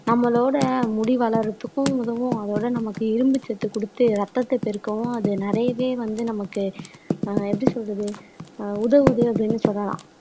நம்மளோட முடி வளர்றதுக்கும் உதவும் அதோட நமக்கு இரும்பு சத்து குடுத்து ரத்தத்தை பெருக்கவும் அது நிறையவே வந்து நமக்கு ஆஹ் எப்படி சொல்றது ஆஹ் உதவுது அப்படின்னு சொல்லலாம்